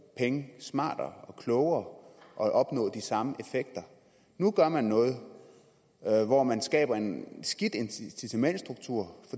pengene smartere og klogere og opnå de samme effekter nu gør man noget hvor man skaber en skidt incitamentsstruktur